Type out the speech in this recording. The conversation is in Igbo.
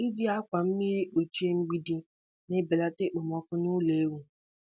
Iji akwa mmiri kpuchie mgbidi na-ebelata okpomọkụ nụlọ ewu.